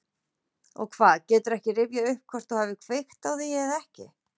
Og hvað, geturðu ekki rifjað upp hvort þú hafir kveikt á því eða ekki?